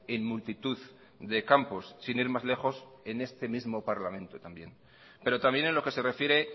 en multitud de campos sin ir más lejos en este mismo parlamento también pero también en lo que se refiere